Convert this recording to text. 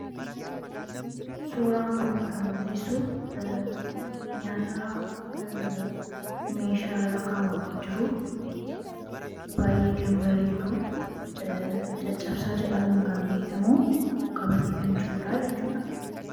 Suuraan kun kan mul'isu nyaata meeshaa irra kaawwamee jiru, baay'ee kan bareedu caccabsaa jedhamuun kan beekamu qabatee kan jirudhaa jechuudha.